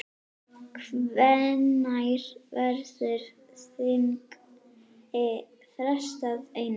Hvenær verður þingi frestað, Einar?